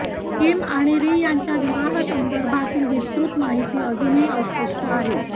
Kim आणि Ri यांच्या विवाहासंदर्भातली विस्तृत माहिती अजूनही अस्पष्ट आहे